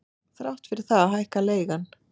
Þrátt fyrir það hækkar leigan.